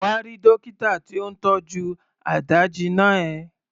Come and see the doctor treating your wound.